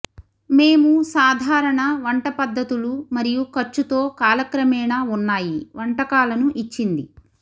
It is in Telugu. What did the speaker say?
మేము సాధారణ వంట పద్ధతులు మరియు ఖర్చుతో కాలక్రమేణా ఉన్నాయి వంటకాలను ఇచ్చింది